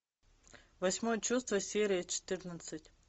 восьмое чувство серия четырнадцать